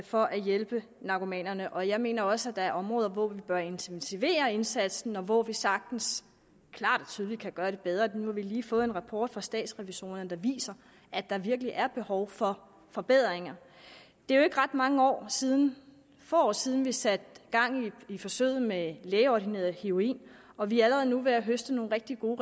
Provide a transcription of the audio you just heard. for at hjælpe narkomanerne og jeg mener også at der er områder hvor vi bør intensivere indsatsen og hvor vi sagtens klart og tydeligt kan gøre det bedre nu har vi lige fået en rapport fra statsrevisorerne der viser at der virkelig er behov for forbedringer det er jo ikke ret mange år siden år siden vi satte gang i forsøget med lægeordineret heroin og vi er allerede nu ved at høste nogle rigtig gode